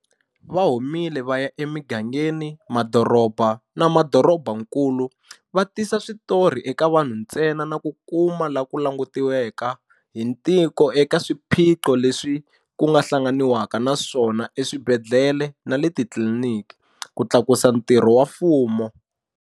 Va humile vaya emigangeni, madoroba na madorobakulu, va tisa switori eka vanhu ntsena na ku kuma ku langutiwaka hi tiko eka swiphiqo leswi ku hlanganiwaka na swona eswibedhlele na le titliliniki, ku tlakusa ntirho wa mfumo.